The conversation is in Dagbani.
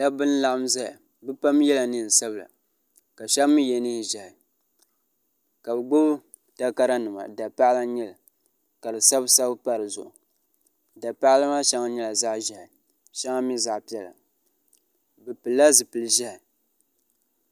da ba n laɣim zaya bɛpam yɛla nisabila la shɛbii yɛ nɛ ʒiɛhi ka be gbai takarinima da paɣ' la n nyɛli ka di sabisabi n pa di zuɣ' da paɣ' la maa shɛŋa n nyɛla zaɣ' ʒiɛhi shɛŋa mi zaɣ' pɛla be pɛli la zibili ʒiɛhi